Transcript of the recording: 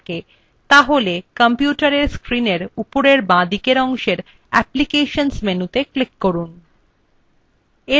তাহলে কম্পিউটারএর screenএর উপরের বাঁদিকের অংশে applications বিকল্পটি ক্লিক করুন